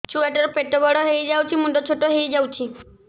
ଛୁଆ ଟା ର ପେଟ ବଡ ହେଇଯାଉଛି ମୁଣ୍ଡ ଛୋଟ ହେଇଯାଉଛି